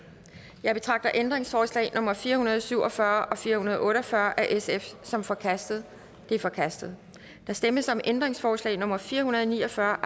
jeg betragter ændringsforslag nummer fire hundrede og syv og fyrre og fire hundrede og otte og fyrre af sf som forkastet de er forkastet der stemmes om ændringsforslag nummer fire hundrede og ni og fyrre